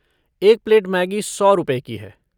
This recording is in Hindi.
एक प्लेट मैगी सौ रुपए की है।